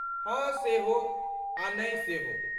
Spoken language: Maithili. हँ सेहो आ नै सेहो।